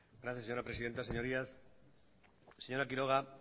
gracias señora presidenta señorías señora quiroga